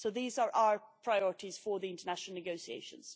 So these are our priorities for the international negotiations.